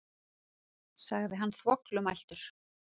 sagði hann þvoglumæltur.